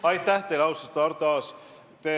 Aitäh teile, austatud Arto Aas!